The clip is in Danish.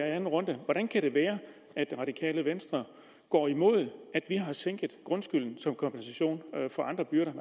anden runde er hvordan kan det være at det radikale venstre går imod at vi har sænket grundskylden som kompensation for andre byrder